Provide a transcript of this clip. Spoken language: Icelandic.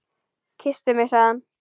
Kysstu mig sagði hann.